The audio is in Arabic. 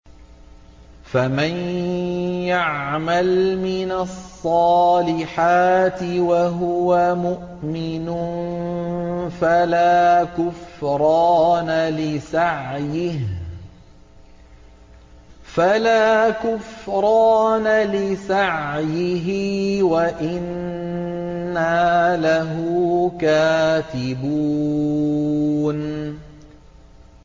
فَمَن يَعْمَلْ مِنَ الصَّالِحَاتِ وَهُوَ مُؤْمِنٌ فَلَا كُفْرَانَ لِسَعْيِهِ وَإِنَّا لَهُ كَاتِبُونَ